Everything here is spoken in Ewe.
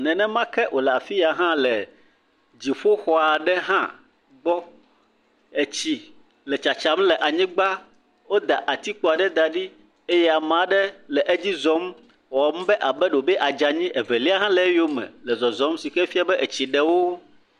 Nenema ke wòle afi ya hã le dziƒoxɔdzi hã gbɔ. Etsi le tsatsam le anyigba. Woda atikpo aɖe da ɖi eye ame aɖe le edzi zɔm wɔm be ɖewo be aadze anyi. Evelia hã le eyome le zɔzɔm si ke fia be etsi ɖe wo.